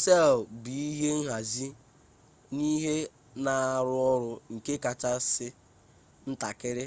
sel bụ ihe nhazi na ihe na-arụ ọrụ nke kachasị ntakịrị